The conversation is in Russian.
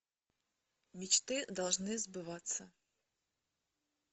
мечты должны сбываться